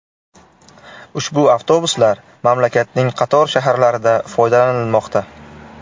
Ushbu avtobuslar mamlakatning qator shaharlarida foydalanilmoqda.